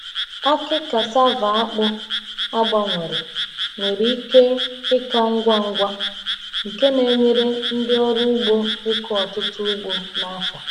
Akị cassava akpụ a gbanwere nwere ike ịka ngwa ngwa, nke na-enyere ndị ọrụ ugbo ịkụ ọtụtụ ugbo n’afọ.